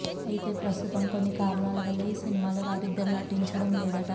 అయితే ప్రస్తుతం కొన్ని కారణాలవల్ల ఈ సినిమాలో వారిద్దరు నటించడం లేదట